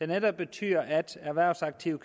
netop vil betyde at erhvervsaktive